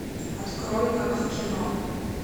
открой как в кино